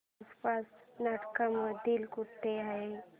आसपास नाट्यमंदिर कुठे आहे